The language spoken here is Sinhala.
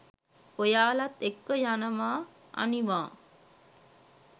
ඔයාලත් එක්ක යනවා අනිවා